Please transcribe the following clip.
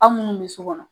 Aw munnu bɛ sokɔnɔ